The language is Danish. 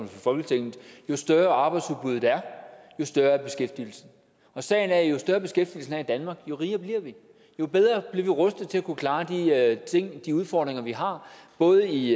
folketinget jo større arbejdsudbuddet er jo større er beskæftigelsen sagen er at jo større beskæftigelsen er i danmark jo rigere bliver vi jo bedre bliver vi rustet til at kunne klare de udfordringer vi har både i